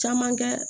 Caman kɛ